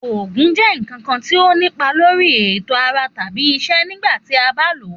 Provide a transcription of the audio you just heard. Òògùn jẹ nkan kan ti o ni ipa lori eto ara tabi iṣẹ nigba ti a ba lo.